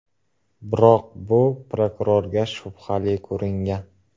Biroq bu prokurorga shubhali ko‘ringan.